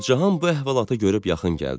Gülcahan bu əhvalata görüb yaxın gəldi.